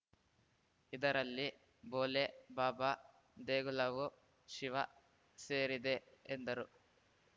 ಇದರಲ್ಲಿ ಭೋಲೆ ಬಾಬಾ ದೇಗುಲವೂ ಶಿವ ಸೇರಿದೆ ಎಂದರು